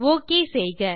okay செய்க